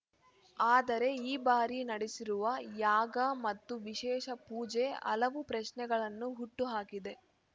ಆದರೆ ಈ ಬಾರಿ ನಡೆಸಿರುವ ಯಾಗ ಮತ್ತು ವಿಶೇಷ ಪೂಜೆ ಹಲವು ಪ್ರಶ್ನೆಗಳನ್ನು ಹುಟ್ಟು ಹಾಕಿದೆ